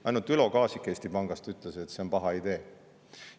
Ainult Ülo Kaasik Eesti Pangast ütles, et see on paha idee.